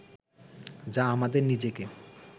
যা আমাদের নিজেকে